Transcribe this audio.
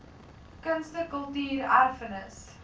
kunste kultuur erfenis